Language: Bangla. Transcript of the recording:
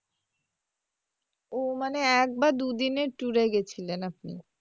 ও মানে একবার দুদিনের tour এ গেছিলেন আপনি?